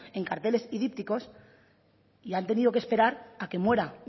en carteles y dípticos y han tenido que esperar a que muera